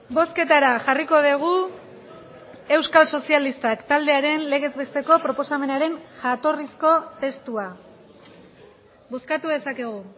bozketara jarriko dugu euskal sozialistak taldearen legez besteko proposamenaren jatorrizko testua bozkatu dezakegu